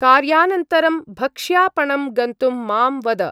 कार्यानन्तरं भक्ष्यापणं गन्तुं मां वद।